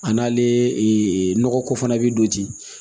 A n'ale nɔgɔko fana bɛ don ten